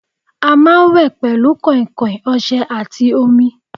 À máa wè pẹ̀lú kàn-kàn, ọsè àti omi